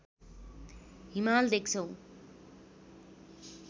हिमाल देख्छौ